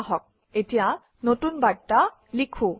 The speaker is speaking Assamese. আহক এতিয়া নতুন বাৰ্তা লিখোঁ